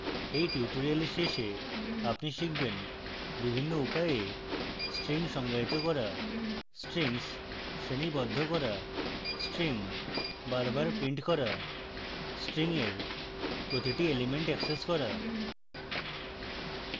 at tutorial শেষে আপনি শিখবেন: